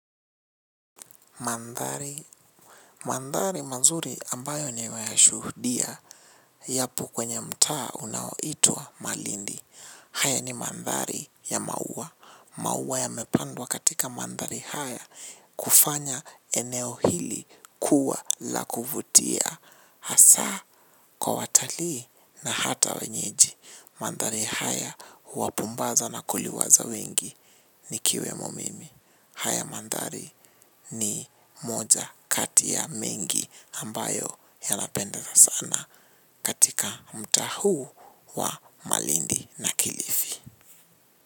Mandhari mazuri ambayo nimeyashuhudia yako kwenye mtaa unaoitwa malindi. Haya ni mandhari ya maua, maua ya mepandwa katika mandhari haya, kufanya eneo hili kuwa la kuvutia. Hasa kwa watalii na hata wenyeji, mandhari haya huwapumbaza na kuliwaza wengi nikiwemo mimi. Haya mandhari ni moja kati ya mengi ambayo yanapendeza sana katika mtaa huu wa malindi na kilifi.